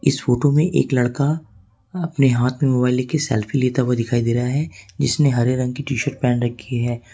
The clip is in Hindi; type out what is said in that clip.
इस फोटो में एक लड़का अपने हाथ में मोबाइल लेके सेल्फी लेता हुआ दिखाई दे रहा है जिसने हरे रंग का टी शर्ट पहने हुआ है।